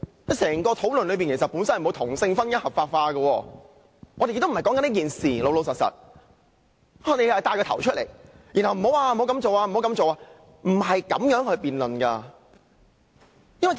其實，整個討論與同性婚姻合法化無關，我們並非討論這事，但他卻牽頭提出討論，還要不斷表示不可這樣做。